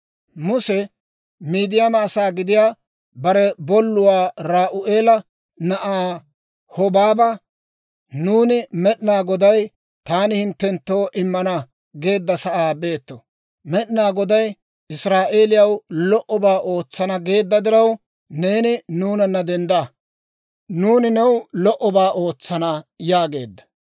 Muse Midiyaama asaa gidiyaa bare bolluwaa Re'u'eela na'aa Hobaaba, «Nuuni Med'inaa Goday, ‹Taani hinttenttoo immana› geedda sa'aa beeto; Med'inaa Goday Israa'eeliyaw lo"obaa ootsana geedda diraw, neeni nuunana dendda. Nuuni new lo"obaa ootsana» yaageedda.